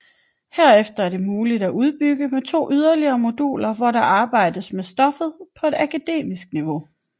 Herefter er det muligt at udbygge med yderligere 2 moduler hvor der arbejdes med stoffet på et akademisk niveau